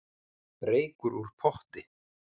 Reykur úr potti